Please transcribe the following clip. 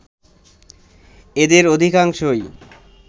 এদের অধিকাংশই